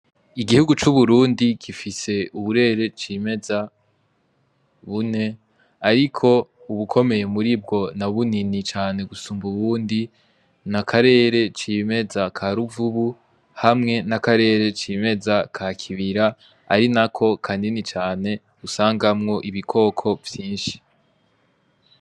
Igihugu c'uburundi gifise uburere cimeza bune, ariko ubukomeye muri bwo na bunini cane gusumba uwundi ni akarere c'imeza ka ruvubu hamwe n'akarere c'imeza ka kibira ari na ko kanini cane usangamwo ibikokwo kovyinshi.